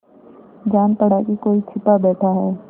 जान पड़ा कि कोई छिपा बैठा है